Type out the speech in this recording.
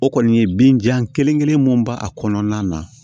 O kɔni ye bin jan kelen mun b'a kɔnɔna na